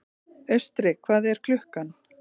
Austri, hvað er klukkan?